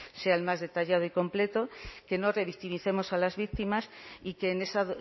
sea el más detallado y completo que no revictimicemos a las víctimas y que en esa